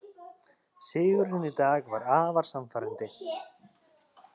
Sigurinn í dag var afar sannfærandi